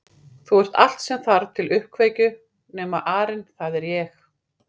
Þú ert allt sem þarf til uppkveikju nema arinn það er ég